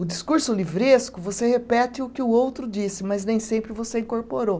O discurso livresco, você repete o que o outro disse, mas nem sempre você incorporou.